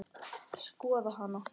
Skoða hana?